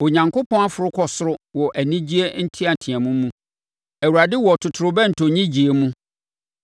Onyankopɔn aforo kɔ soro wɔ anigyeɛ nteateam mu. Awurade wɔ totorobɛnto nnyegyeeɛ mu.